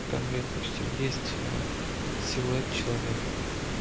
в камере эксторьера есть силуэт человека